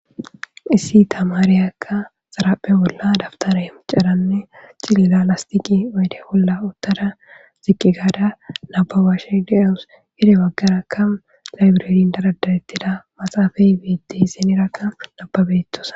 Issi tamaareyakka xaraphe bolla dabtara he micaranne cilila lastiqi bayde bolla uttada ziqqi gaada nababashe de'oous yede waggarakka laybireein daradarettida maxaafay beete hisenerakka nababetosa.